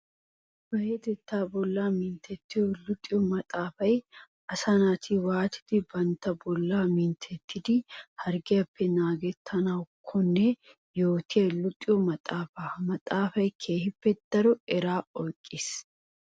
Payatetta bolla minttetiyo luxiyo maxafay asaa naati waatiddi bantta bolla minttetiddi harggiyappe naagettanakkonne yootiya luxiyo maxafa. Ha maxafay keehippe daro eraa oyqqis.